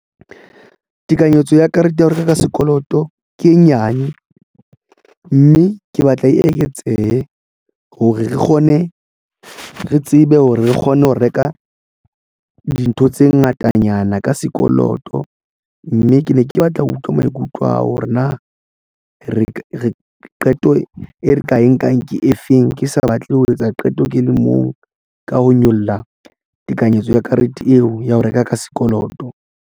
Tekanyetso ya karete ya ho reka ka sekoloto ke e nyane mme ke batla e eketsehe hore re kgone re tsebe hore re kgone ho reka dintho tse ngatanyana ka sekoloto, mme ke ne ke batla ho utlwa maikutlo a hore na re ka re qeto e re ka e nkang ke efeng ke sa batle ho etsa qeto ke le mong ka ho nyolla tekanyetso ya karete eo ya ho reka ka sekoloto.